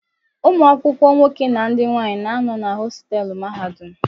Ụmụ akwụkwọ nwoke na ndị nwanyị na-anọ na hostelu mahadum.